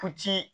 Ku ci